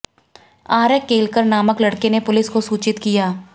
आर्य केलकर नामक लड़के ने पुलिस को सूचित किया